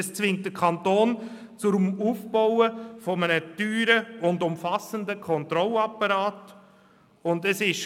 Es zwingt den Kanton dazu, einen teuren und umfassenden Kontrollapparat aufzubauen.